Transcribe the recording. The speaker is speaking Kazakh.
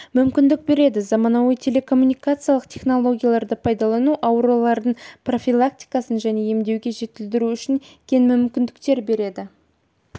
мүмкіндік береді заманауи телекоммуникациялық технологияларды пайдалану аурулардың профилактикасын және емдеуді жетілдіру үшін кең мүмкіндіктер береді